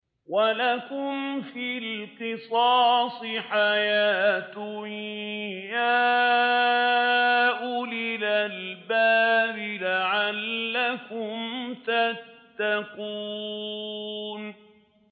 وَلَكُمْ فِي الْقِصَاصِ حَيَاةٌ يَا أُولِي الْأَلْبَابِ لَعَلَّكُمْ تَتَّقُونَ